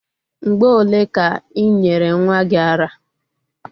Mgbe ole ka i nyere nwa gi ara?